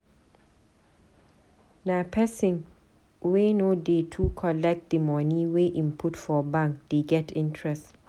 Na pesin wey no dey too collect di moni wey im put for bank dey get interest.